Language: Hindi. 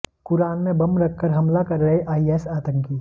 कुरान में बम रख कर हमला कर रहे आईएस आतंकी